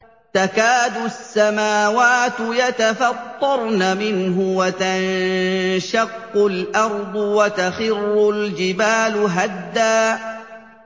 تَكَادُ السَّمَاوَاتُ يَتَفَطَّرْنَ مِنْهُ وَتَنشَقُّ الْأَرْضُ وَتَخِرُّ الْجِبَالُ هَدًّا